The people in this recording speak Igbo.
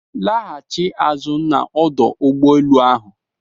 Lachie azụ na ọdụ ụgbọ enu ahụ!